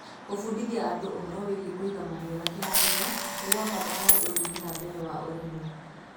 gũbudithia andũ ũhoro wĩĩgie kũiga mahiũ na kĩharĩro ni gwa bata hari ũthii na mbere wa ũrĩmi